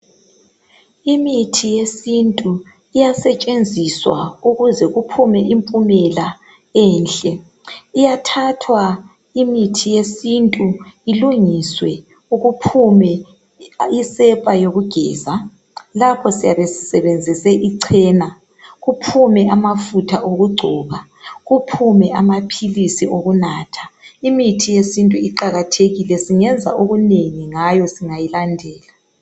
imithi yesintu iyasetshenziswa ukuze kuphume impumela enhle iyathathw imithi yesintu ilungiswe kuphume isepa yokugeza lapho siyabe sisebenzise ichena kuphume amafutha okugcoba kuphume amaphilisi okunatha imithi yesintu iqakathekile singenza okunengi ngayo singayilandela